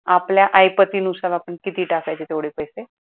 आपल्या ऐपतीनुसार आपण किती टाकायचे तेवढे पैसे